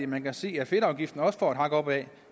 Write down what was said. man kan se at fedtafgiften også får et hak opad